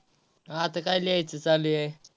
आता काय लिहायच चालू आहे.